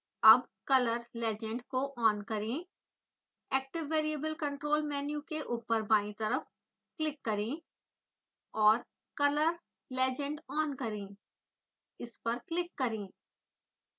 अब color legend को on करें active variable control मेन्यू के ऊपर बायीं तरफ क्लिक करें और color legend on करें इस पर क्लिक करें